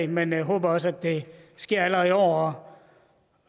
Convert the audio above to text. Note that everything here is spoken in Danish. men vi håber også at det sker allerede i år